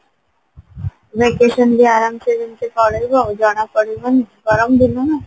vacation ବି ଆରମସେ ଯେମତି ପଳେଇବ ଜଣା ପଡିବନି ଗରମ ଦିନ ନା